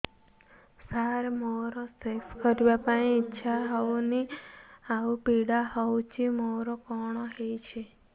ସାର ମୋର ସେକ୍ସ କରିବା ପାଇଁ ଇଚ୍ଛା ହଉନି ଆଉ ପୀଡା ହଉଚି ମୋର କଣ ହେଇଛି